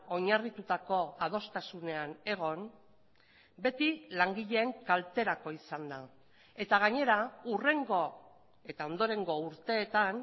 oinarritutako adostasunean egon beti langileen kalterako izan da eta gainera hurrengo eta ondorengo urteetan